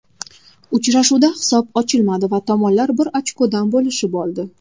Uchrashuvda hisob ochilmadi va tomonlar bir ochkodan bo‘lishib oldi.